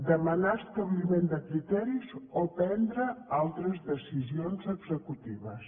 demanar establiment de criteris o prendre altres decisions executives